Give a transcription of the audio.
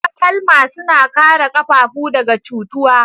Takalma suna kare ƙafafu daga cutuwa.